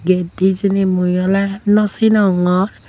ged dey hejeni mui oley nosinongor.